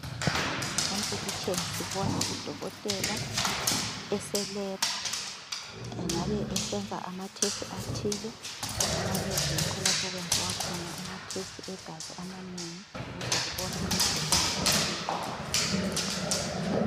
Emphikitsheni sibona udokotela eselebhu engabe esenza amathesithi athile. Emalebhu yikho lapho okwenziwa khona amathesithi egazi amanengi ukuze kubonwe imikhuhlane ethile.